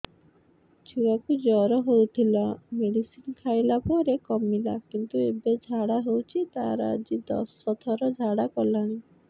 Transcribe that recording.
ଛୁଆ କୁ ଜର ହଉଥିଲା ମେଡିସିନ ଖାଇଲା ପରେ କମିଲା କିନ୍ତୁ ଏବେ ଝାଡା ହଉଚି ତାର ଆଜି ଦଶ ଥର ଝାଡା କଲାଣି